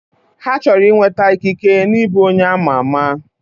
Ha chọrọ inweta ikike na ịbụ onye ama ama